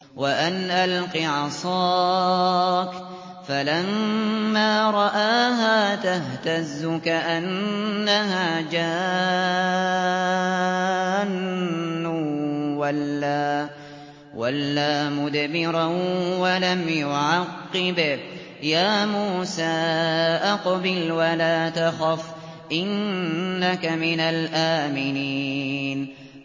وَأَنْ أَلْقِ عَصَاكَ ۖ فَلَمَّا رَآهَا تَهْتَزُّ كَأَنَّهَا جَانٌّ وَلَّىٰ مُدْبِرًا وَلَمْ يُعَقِّبْ ۚ يَا مُوسَىٰ أَقْبِلْ وَلَا تَخَفْ ۖ إِنَّكَ مِنَ الْآمِنِينَ